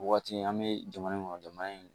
O waati an bɛ jamana in kɔnɔ jamana in